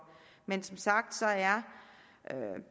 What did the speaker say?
men som sagt er